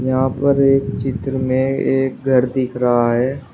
यहां पर एक चित्र में एक घर दिख रहा है।